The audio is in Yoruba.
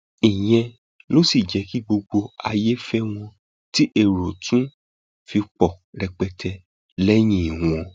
ìyẹn ló sì jẹ kí gbogbo ayé fẹ wọn tí èrò tún fi pọ rẹpẹtẹ lẹyìn wọn